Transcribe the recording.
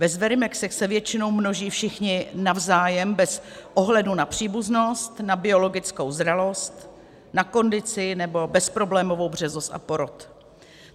Ve zverimexech se většinou množí všichni navzájem bez ohledu na příbuznost, na biologickou zralost, na kondici nebo bezproblémovou březost a porod.